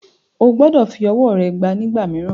O gbọdọ̀ fi ọwọ́ rẹ gbá a nígbà mìíràn.